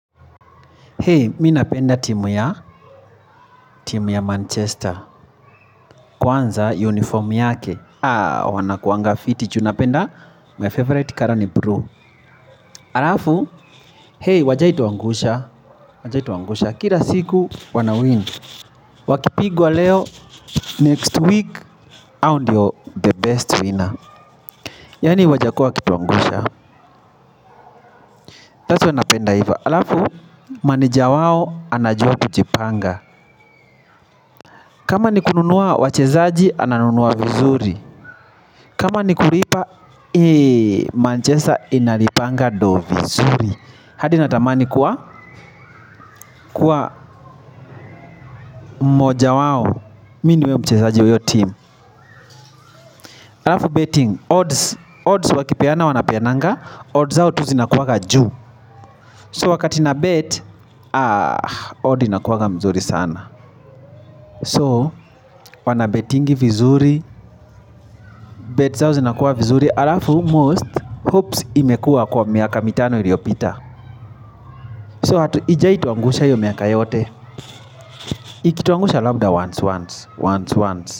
Hei, mimi napenda timu ya, timu ya Manchester. Kwanza, uniform yake. Ah, wanakuanga fiti. Ju napenda, my favorite color ni blue. Alafu, hei, hawajawahi tuangusha. Hawajawahi tuangusha. Kila siku, wana win. Wakipigwa leo, next week, hao ndio the best winner. Yani, hawajakua kutuangusha. Taso, wanapenda hiva. Alafu, maneja wao, anajua kujipanga. Kama ni kununua wachezaji, ananunua vizuri. Kama ni kulipa, manchester inalipanga do vizuri. Hadi natamani kuwa, kuwa moja wawo. Mini niwe mchezaji wa hiyo team. Alafu betting, odds Odds wakipeana wanapeananga Odds hao tu zinakuwa ga juu So wakati na bet, odd inakuwa ga mzuri sana So, wanabetingi vizuri Bet zao zinakuwa vizuri. Alafu, most hopes imekua kwa miaka mitano iliopita So hatu ija ituangusha yomi ya kayote. Iki ituangusha lambda once once once once.